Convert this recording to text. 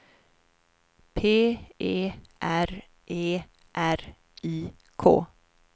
P E R E R I K